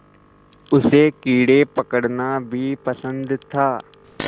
उसे कीड़े पकड़ना भी पसंद था